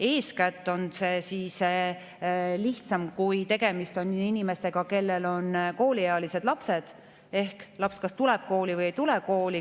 Eeskätt on see lihtsam siis, kui tegemist on inimesega, kellel on kooliealine laps, sest laps kas tuleb kooli või ei tule kooli.